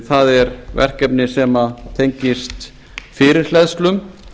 það er verkefni sem tengist fyrirhleðslum